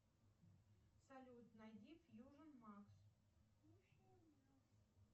салют найди фьюжн макс